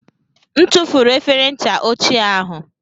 M tụfuru efere ncha ochie ahụ.